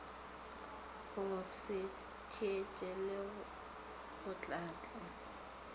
go se theetše le botlatla